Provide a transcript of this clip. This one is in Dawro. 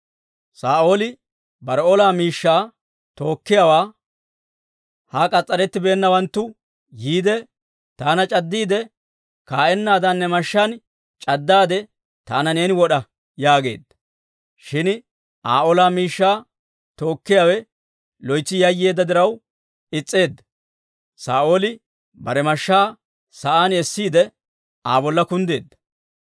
Saa'ooli bare ola miishshaa tookkiyaawaa, «Ha k'as's'arettibeennawanttu yiide, taana c'addiide kaa'ennaadan, ne mashshaan c'addaade, taana neeni wod'a» yaageedda. Shin Aa ola miishshaa tookkiyaawe loytsi yayyeedda diraw is's'eedda; Saa'ooli bare mashshaa sa'aan essiide, Aa bolla kunddeedda.